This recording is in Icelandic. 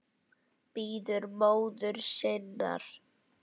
Bíður móður sinnar.